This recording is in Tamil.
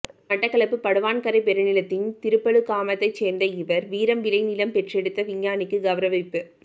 மட்டக்களப்பு படுவான்கரை பெருநிலத்தின் திருப்பழுகாமத்தை சேர்ந்த இவர் வீரம் விளை நிலம் பெற்றெடுத்த விஞ்ஞானிக்கு கௌரவிப்பு